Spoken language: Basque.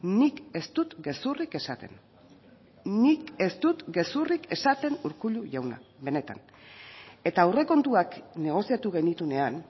nik ez dut gezurrik esaten nik ez dut gezurrik esaten urkullu jauna benetan eta aurrekontuak negoziatu genituenean